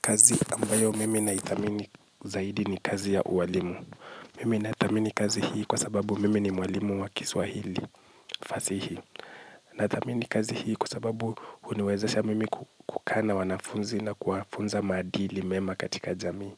Kazi ambayo mimi na ithamini zaidi ni kazi ya uwalimu. Mimi nathamini kazi hii kwa sababu mimi ni mwalimu wa kiswahili fasihi. Na thamini kazi hii kwa sababu huniwezasha mimi kukaa na wanafunzi na kuwafunza maadili mema katika jamii.